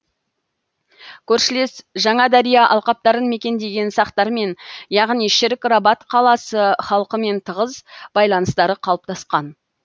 көршілес жаңадария алқаптарын мекендеген сақтармен яғни шірік рабат қаласы халқымен тығыз байланыстары қалыптасқан